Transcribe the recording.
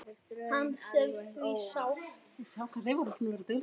Hans er því sárt saknað.